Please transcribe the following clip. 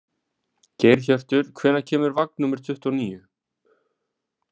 Geirhjörtur, hvenær kemur vagn númer tuttugu og níu?